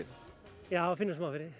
já maður finnur smá fyrir